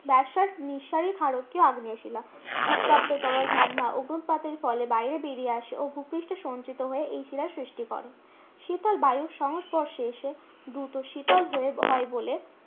Basalt নিঃসারী ক্ষারকীয় আগ্নেয় শিলা। উত্তপ্ত তরল ম্যাগমা অগ্নুৎপাতের ফলে বাইরে বেরিয়ে আসে ও ভুপৃষ্ঠে সঞ্চিত হয়ে এই শিলার সৃষ্টি করে। শীতল বায়ুর সংস্পর্শে এসে দূত শীতল হয়ে, হয় বলে